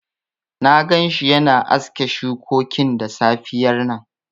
Na gan shi yana aske shukokin da safiyar nan